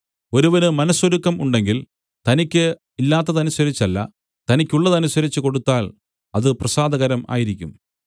ഒരുവന് മനസ്സൊരുക്കം ഉണ്ടെങ്കിൽ തനിക്ക് ഇല്ലാത്തതനുസരിച്ചല്ല തനിക്കുള്ളതനുസരിച്ച് കൊടുത്താൽ അത് പ്രസാദകരം ആയിരിക്കും